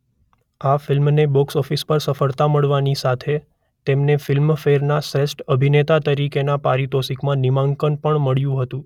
આ ફિલ્મને બોક્સઓફિસ પર સફળતા મળવાની સાથે તેમને ફિલ્મફેરના શ્રેષ્ઠ અભિનેતા તરીકેના પારિતોષિકમાં નામાંકન પણ મળ્યું હતું.